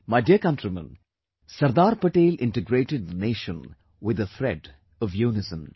My dear countrymen, Sardar Patel integrated the nation with the thread of unison